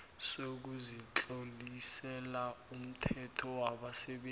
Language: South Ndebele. sokuzitlolisela umthelo wabasebenzi